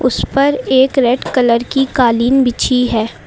इसपर एक red colour की कालीन बिछी है।